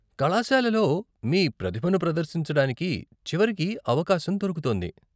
కళాశాలలో మీ ప్రతిభను ప్రదర్శించడానికి చివరికి అవకాశం దొరుకుతోంది.